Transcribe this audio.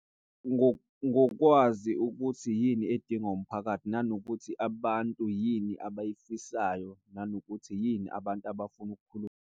Ngokwazi ukuthi yini edinga umphakathi nanokuthi abantu yini abayifisayo nanokuthi yini abantu abafuna .